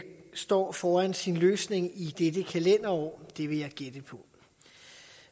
står foran sin løsning i dette kalenderår det vil jeg gætte på